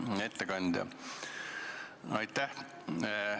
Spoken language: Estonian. Hea ettekandja!